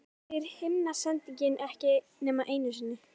En það segir himnasendingin ekki nema einu sinni.